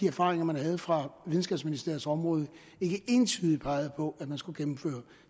erfaringerne fra videnskabsministeriets område ikke entydigt pegede på at man skulle gennemføre